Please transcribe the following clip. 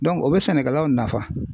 o bɛ sɛnɛkɛlaw nafa.